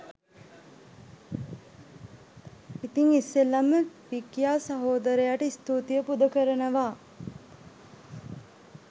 ඉතිං ඉස්සෙල්ලම විකියා සහෝදරයට ස්තූතිය පුද කරනවා